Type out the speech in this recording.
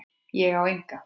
Ég á enga.